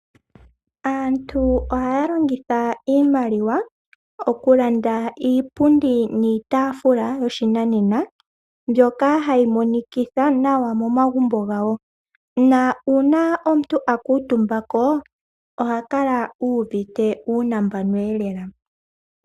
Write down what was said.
Aantu ohaya longitha iimaliwa okulanda iipundi niitaafula yoshinanena mbyoka hayi monikitha momagumbo gawo, na uuna omuntu a kuutumbako ohakala u uvite uunambano lela